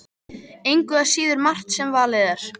Engu að síður margt sem valið er.